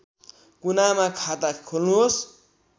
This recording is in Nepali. कुनामा खाता खोल्नुहोस्‌